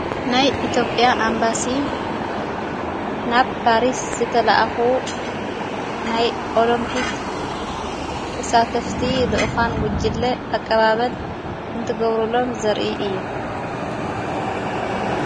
ናይ ኢቴጴያ ኣምባሲ ናብ ጳሪስ ዝተለኣኹ ናይ ኦሎምጵክ ወሳተፍቲ ልኡዃን ጕጅለ ኣቀባበል እንትገብሩሎን ዘርኢ እዩ።